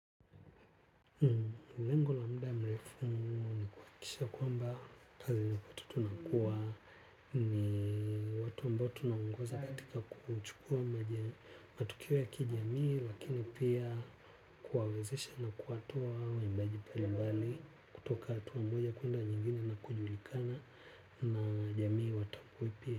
Lengo la muda mrefu ni kuakisha kwamba kazi ni watu tunakuwa ni watu ambao tunaongoza katika kuchukua matokeo ya kijamii, lakini pia, kuwawezesha na kuwatoa waimbaji pale mbali, kutoka atua mmoja kuenda nyingine na kujulikana na jamii watakwipia.